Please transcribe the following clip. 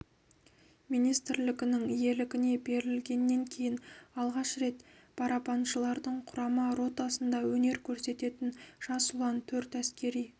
министрлігінің иелігіне берілгеннен кейін алғаш рет барабаншылардың құрама ротасында өнер көрсететін жас ұлан төрт әскери